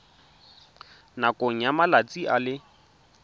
nakong ya malatsi a le